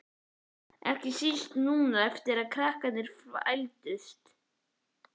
Ekki síst núna eftir að krakkarnir fæddust.